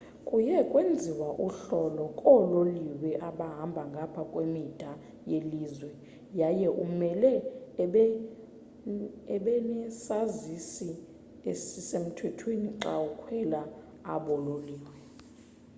kuye kwenziwe uhlolo koololiwe abahamba ngapha kwemida yelizwe yaye umele ubenesazisi esisemthethweni xa ukhwela abo loliwe